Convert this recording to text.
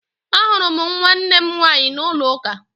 Ahụrụ m nwannem nwaanyị n'ụlọ uka